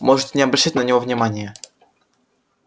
можете не обращать на него внимания